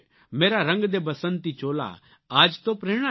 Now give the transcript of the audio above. મેરા રંગ દે બસંતી ચોલા આ જ તો પ્રેરણા છે